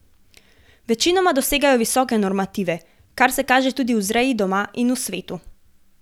Večinoma dosegajo visoke normative, kar se kaže tudi v vzreji doma in svetu.